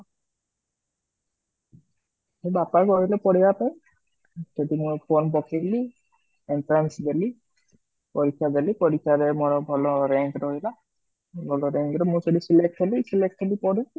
ମୋ ବାପା କହିଲେ ପଢିବା ପାଇଁ ତ ସେଠି ମୁଁ form ପକେଇ ଦେଲି entrance ଦେଲି, ପରିକ୍ଷା ଦେଲି, ପରିକ୍ଷାରେ ମୋର ଭଲ rank ରହିଲା, ଭଲ rank ରେ ମୁଁ select ହେଲି, select ହେଲି ପଢିଲି